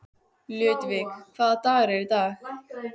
Ludvig, hvaða dagur er í dag?